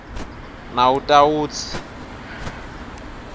nawutawutsi